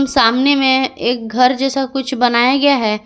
सामने में एक घर जैसा कुछ बनाया गया है।